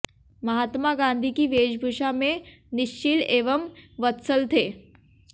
महात्मा गांधी की वेशभूषा में निश्चिल एवं वत्सल थे